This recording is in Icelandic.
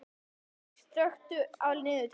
Lofn, slökktu á niðurteljaranum.